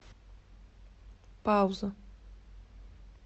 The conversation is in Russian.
пауза